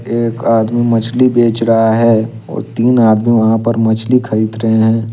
एक आदमी मछली बेच रहा हैं और तीन आदमी वहां पे मछली खरीद रहे है।